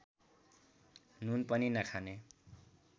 नुन पनि नखाने